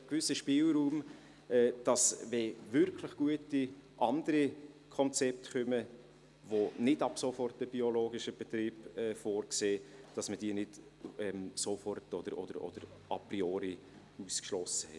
Ein gewisser Spielraum ist nötig, damit man, wenn wirklich gute andere Konzepte vorgelegt werden, die nicht ab sofort einen biologischen Betrieb vorsehen, diese nicht sofort oder a priori ausschliesst.